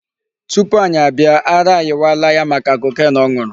Tupu anyị abịa ara ayịwala ya maka cocaine ọ nụrụ.